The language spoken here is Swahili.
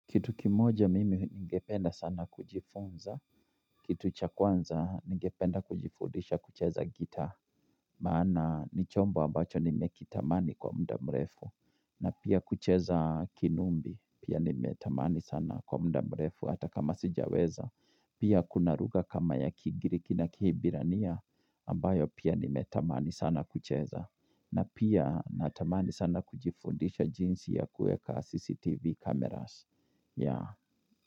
Kitu kimoja mimi ningependa sana kujifunza, kitu cha kwanza ningependa kujifundisha kucheza gitaa, maana ni chombo ambacho nimekitamani kwa muda mrefu, na pia kucheza kinumbi, pia nimetamani sana kwa muda mrefu hata kama sijaweza, pia kuna lugha kama ya kigiriki na kihibirania, ambayo pia nimetamani sana kucheza, na pia natamani sana kujifundisha jinsi ya kueka CCTV cameras ya.